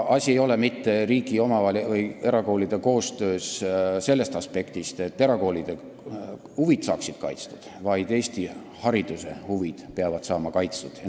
Asi ei ole mitte riigi ja erakoolide koostöös selles aspektis, et erakoolide huvid saaksid kaitstud, vaid selles, et Eesti hariduse huvid peavad saama kaitstud.